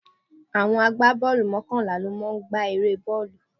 Àwọn agbá bọ́ọ̀lù mọ́kànlá ló máa ń gba eré bọ́ọ̀lù.